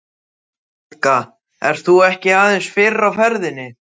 Helga: Ert þú ekki aðeins fyrr á ferðinni?